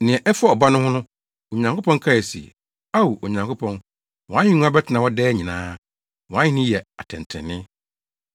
Nea ɛfa Ɔba no ho no, Onyankopɔn kae se, “Ao, Onyankopɔn, wʼahengua bɛtena hɔ daa nyinaa; wʼAhenni yɛ atɛntrenee.